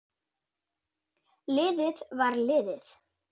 Liðið var liðið.